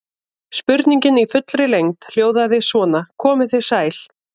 Spurningin í fullri lengd hljóðaði svona: Komið þið sæl.